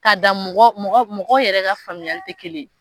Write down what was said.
K'a da mɔgɔ mɔgɔ mɔgɔ yɛrɛ ka faamuyali tɛ kelen ye.